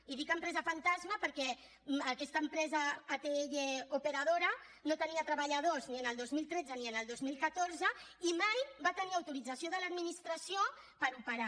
i dic empresa fantasma perquè aquesta empresa operadora atll no tenia treballadors ni el dos mil tretze ni el dos mil catorze i mai va tenir autorització de l’administració per operar